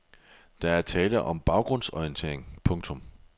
Der er tale om en baggrundsorientering. punktum